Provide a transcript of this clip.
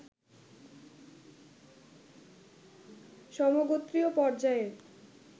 সমগোত্রীয় পর্যায়ের